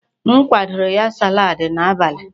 M kwadoro ya salaadi n'abalị.